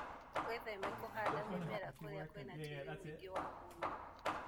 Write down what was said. Wĩtheme na kũhanda mĩmera kũria kwĩna tĩri mũigĩ wa mũnyũ.